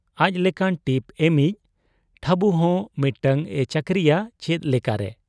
ᱟᱡ ᱞᱮᱠᱟᱱ ᱴᱤᱯ ᱮᱢᱤᱡ ᱴᱷᱟᱹᱵᱩᱦᱚᱸ ᱢᱤᱫᱴᱟᱹᱝ ᱮ ᱪᱟᱹᱠᱨᱤᱭᱟ ᱪᱮᱫ ᱞᱮᱠᱟᱨᱮ ?